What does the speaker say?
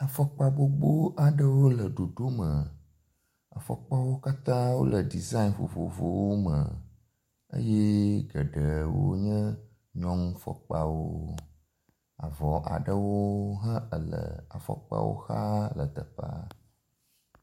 Afɔkpa gbogbo aɖewo le ɖoɖo me. Afɔkpawo katã wole deziaŋ vovovowo me eye geɖewo nye nyɔnufɔkpawo. Avɔ aɖewo he le afɔkpawo xa le teƒea.